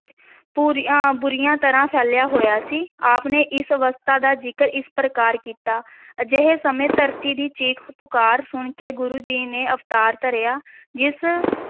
ਬੁਰੀਆਂ ਬੁਰੀਆਂ ਤਰ੍ਹਾਂ ਫੈਲਿਆ ਹੋਇਆ ਸੀ, ਆਪ ਨੇ ਇਸ ਅਵਸਥਾ ਦਾ ਜ਼ਿਕਰ ਇਸ ਪ੍ਰਕਾਰ ਕੀਤਾ ਅਜਿਹੇ ਸਮੇਂ ਧਰਤੀ ਦੀ ਚੀਖ-ਪੁਕਾਰ ਸੁਣ ਕੇ ਗੁਰੂ ਜੀ ਨੇ ਅਵਤਾਰ ਧਾਰਿਆ ਜਿਸ